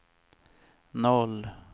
noll